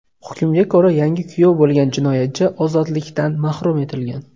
Hukmga ko‘ra, yangi kuyov bo‘lgan jinoyatchi ozodlikdan mahrum etilgan.